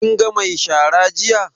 Kin ga mai shara jiya?